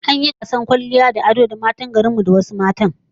An yi gasar kwalliya da ado tsakanin matan garin mu da na wani gari makobta